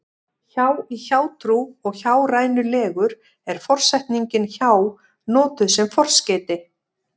hjá í hjátrú og hjárænulegur er forsetningin hjá notuð sem forskeyti